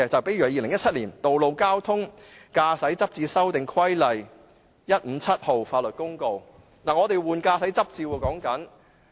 例如《2017年道路交通規例》說的是司機要更換駕駛執照。